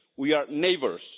We are neighbours.